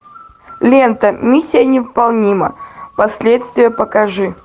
лента миссия невыполнима последствия покажи